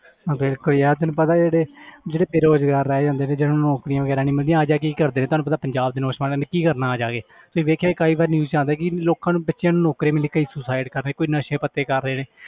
ਬਿਲਕੁਲ ਯਾਰ ਤੈਨੂੰ ਪਤਾ ਜਿਹੜੇ ਜਿਹੜੇ ਬੇਰੁਜ਼ਗਾਰ ਰਹਿ ਜਾਂਦੇ ਨੇ ਜਿਹਨੂੰ ਨੌਕਰੀਆਂ ਵਗ਼ੈਰਾ ਨੀ ਮਿਲਦੀਆਂ ਆ ਜਾ ਕੇ ਕੀ ਕਰਦੇ ਤੁਹਾਨੂੰ ਪਤਾ ਪੰਜਾਬ ਦੇ ਨੌਜਵਾਨਾਂ ਨੇ ਕੀ ਕਰਨਾ ਆ ਜਾ ਕੇ ਤੁਸੀਂ ਵੇਖਿਆ ਕਈ ਵਾਰ ਨਿਊਜ਼ 'ਚ ਆਉਂਦਾ ਕਿ ਲੋਕਾਂ ਨੂੰ ਬੱਚਿਆਂ ਨੂੂੰ ਨੌਕਰੀਆਂ ਲਈ ਕਈ suicide ਕਰ ਰਹੇ ਨੇ, ਕੋਈ ਨਸ਼ੇ ਪੱਤੇ ਕਰ ਰਹੇ ਨੇ